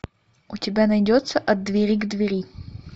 у тебя найдется от двери к двери